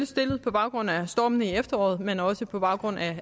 stillet på baggrund af stormene i efteråret men også på baggrund af